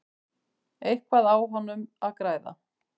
Eitthvað á honum að græða?